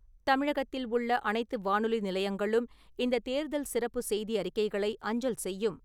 தமிழகத்தில் உள்ள அனைத்து வானொலி நிலையங்களும் இந்தத் தேர்தல் சிறப்பு செய்தி அறிக்கைகளை அஞ்சல் செய்யும்.